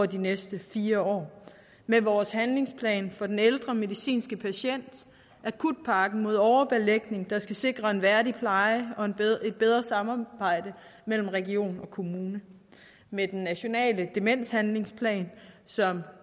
de næste fire år med vores handlingsplan for den ældre medicinske patient akutpakken mod overbelægning der skal sikre en værdig pleje og et bedre samarbejde mellem region og kommune med den nationale demenshandlingsplan som